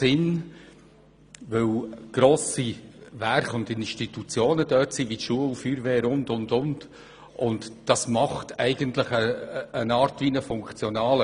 Denn grosse Werke und Institutionen wie Schule, Feuerwehr und so weiter befinden sich dort.